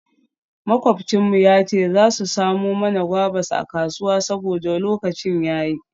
Makwabcin mu ya ce za su samo mana guavas a kasuwa saboda lokacin ya yi.